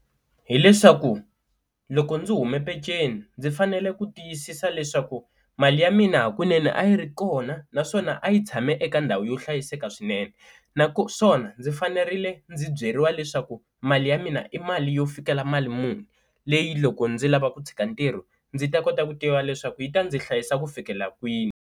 Hi leswaku loko ndzi hume peceni ndzi fanele ku tiyisisa leswaku mali ya mina hakunene a yi ri kona naswona a yi tshame eka ndhawu yo hlayiseka swinene, naswona ndzi fanerile ndzi byeriwa leswaku mali ya mina i mali yo fikela mali muni leyi loko ndzi lava ku tshika ntirho ndzi ta kota ku tiva leswaku yi ta ndzi hlayisa ku fikela kwini.